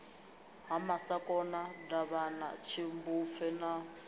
ha masakona davhana tshimbupfe na